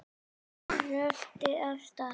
Röltir af stað.